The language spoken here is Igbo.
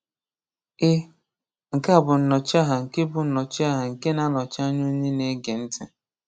Ị (nke a bụ nnọchiaha nke bụ nnọchiaha nke na-anọchi anya onye na-ege ntị)